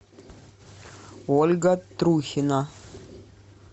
ольга трухина